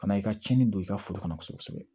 Ka na i ka tiɲɛni don i ka foro kɔnɔ kosɛbɛ